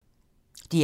DR2